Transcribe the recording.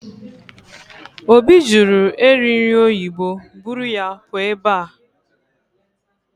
Obi jụrụ eri nri oyibo, buru ya pụọ ebe a!